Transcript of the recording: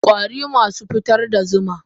kwari masu fitar da zuma.